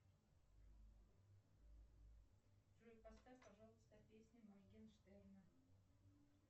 джой поставь пожалуйста песню моргенштерна